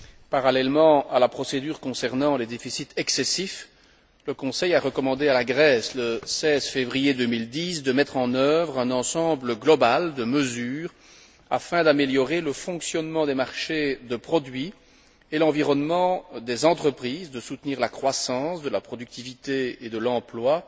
Parallèlement à la procédure concernant les déficits excessifs, le Conseil a recommandé à la Grèce le 16 février 2010 de mettre en œuvre un ensemble global de mesures afin d'améliorer le fonctionnement des marchés de produits et l'environnement des entreprises, de soutenir la croissance de la productivité et de l'emploi,